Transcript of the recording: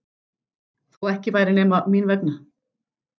Þó ekki væri nema mín vegna.